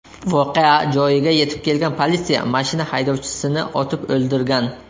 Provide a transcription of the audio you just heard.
Voqea joyiga yetib kelgan politsiya mashina haydovchisini otib o‘ldirgan.